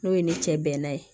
N'o ye ne cɛ bɛnna ye